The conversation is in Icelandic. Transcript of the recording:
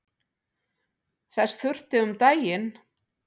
Þess þurfti um daginn.